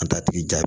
An t'a tigi jaa